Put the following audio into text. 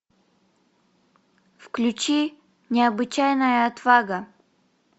включи необычайная отвага